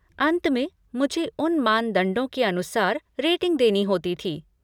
अंत में, मुझे उन्हें मानदंडों के अनुसार रेटिंग देनी होती थी।